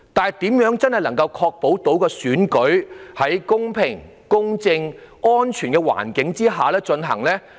然而，我認為更重要的是，如何確保選舉能夠在公平、公正和安全的環境下進行。